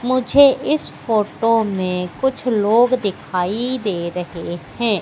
मुझे इस फोटो में कुछ लोग दिखाई दे रहे हैं।